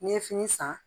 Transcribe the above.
N'i ye fini san